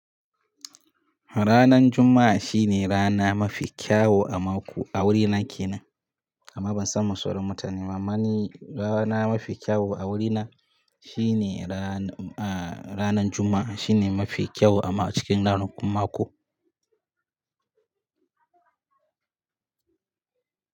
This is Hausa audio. Ranar Juma'a shine rana mafi kyau a mako a wurina kenan, amma ban san ma sauran mutane ma amma ni rana mafi kyau a wurina, shine rana, a ranar Juma'a, shine mafi kyau ama, a cikin ranakun mako.